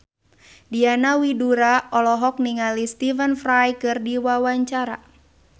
Diana Widoera olohok ningali Stephen Fry keur diwawancara